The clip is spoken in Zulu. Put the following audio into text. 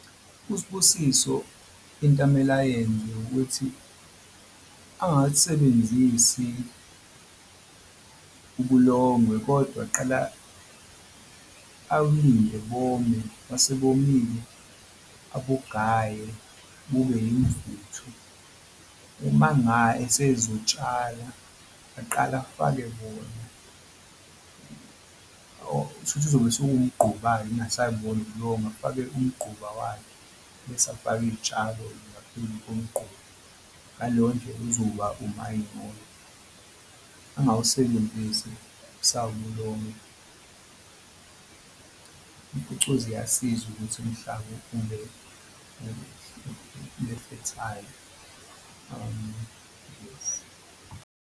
USibusiso into amele ayenze ukuthi angalisebenzisi ubulongwe kodwa aqala awulindi bome mase bomile abungaye bube imvuthu uma esezosthala aqale afake bona kuzobe sekumquba-ke kungasebona ubulongwe afake umqhuba wakhe bese afake iy'tshalo-ke ngaphezu komqhuba. Ngaleyo ndlela uzoba umanyolo. Angawusebenzisi usawubulongwe impucuzi iyasiza ukuthi umhlaba ube ube fertile yes.